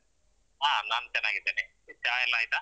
ಹ. ನಾನ್ ಚೆನ್ನಾಗಿದ್ದೇನಿ. ಚಾ ಎಲ್ಲ ಆಯ್ತಾ?